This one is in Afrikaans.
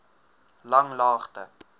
langlaagte